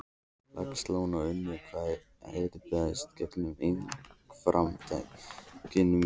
Laxalóns og unnu hvað harðast gegn einkaframtaki mínu.